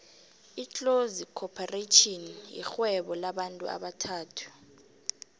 itlozi khopharetjhini yirhvuebo lamabantu abathathu